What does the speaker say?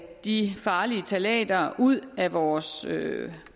de farlige ftalater ud af vores